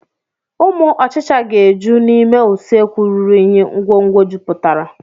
Ụmụ ọchicha ga-eju n'ime usekwu ruru unyi ngwongwo jupụtara.